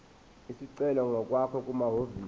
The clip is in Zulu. isicelo ngokwakho kumahhovisi